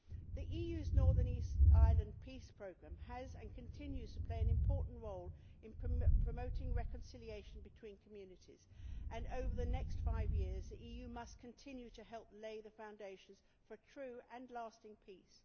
The EU's Northern Ireland Peace Programme has played, and continues to play, an important role in promoting reconciliation between communities, and over the next five years the EU must continue to help lay the foundations for a true and lasting peace.